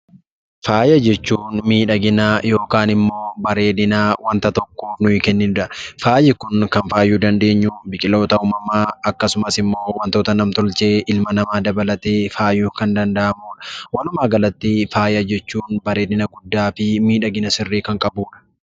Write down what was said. Faaya jechuun miidhagina yookiin immoo bareedina wanta tokkoo kan kennuudha. Faayi Kun kan faayuu dandeenyu biqiltoota uumamaa akkasumas wantoota nam-tolchee ilma namaa dabaltee wantoota faayuu kan danda'aniidha. Walumaa galatti faaya jechuun bareedina guddaa fi miidhagina sirrii kan qabuudha.